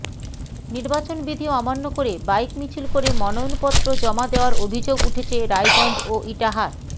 নির্বাচন বিধি অমান্য করে বাইক মিছিল করে মনোনয়নপত্র জমা দেওয়ার অভিযোগ উঠেছে রায়গঞ্জ ও ইটাহার